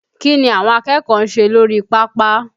Kí ni àwọn akẹ́kọ̀ọ́ ń ṣe lórí pápá?